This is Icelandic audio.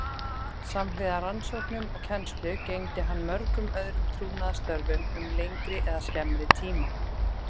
Samhliða rannsóknum og kennslu gegndi hann mörgum öðrum trúnaðarstörfum um lengri eða skemmri tíma.